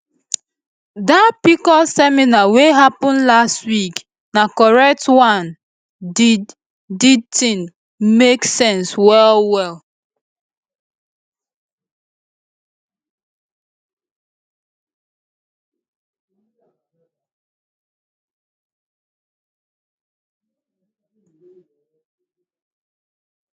dat pcos seminar wey happen last week na correct one di di thing make sense wellwell